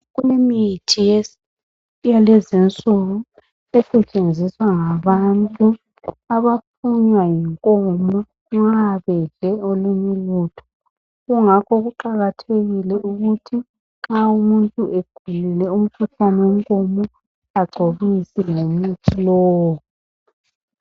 Kulemithi yalezinsuku esetshenziswa ngabantu abaphunywa yinkomo nxa bedle olunye ulutho kungakho kuqakathekile ukuthi nxa umuntu egulile umkhuhlane wenkomo agcobise ngomuthi lowo.